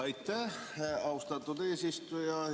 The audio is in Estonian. Aitäh, austatud eesistuja!